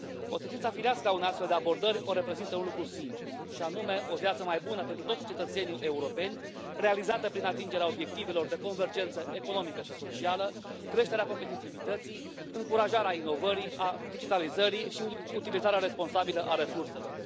Consecința firească a unei astfel de abordări o reprezintă un lucru simplu, și anume, o viață mai bună pentru toți cetățenii europeni, realizată prin atingerea obiectivelor de convergență economică și socială, creșterea competitivității, încurajarea inovării, a digitalizării și utilizarea responsabilă a resurselor.